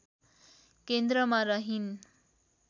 केन्द्रमा रहिन्